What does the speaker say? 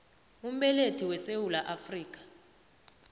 umbelethi wesewula afrika